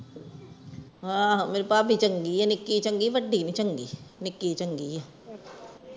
ਆਹੋ ਮੇਰੀ ਭਾਭੀ ਚੰਗੀ ਆ ਨਿਕੀ ਚੰਗੀ ਆ ਵੱਡੀ ਨੀ ਚੰਗੀ ਨਿੱਕੀ ਚੰਗੀ ਆ